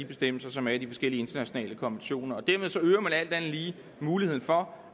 bestemmelser som er i de forskellige internationale konventioner dermed øger man alt andet lige muligheden for